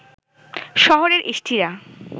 শহরের ইষ্টিরা